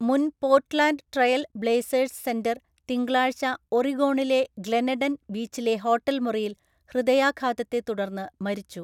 മുൻ Portland Trail Blazers centre തിങ്കളാഴ്ച ഒറിഗോണിലെ ഗ്ലെനെഡൻ ബീച്ചിലെ ഹോട്ടൽ മുറിയിൽ ഹൃദയാഘാതത്തെ തുടർന്ന് മരിച്ചു.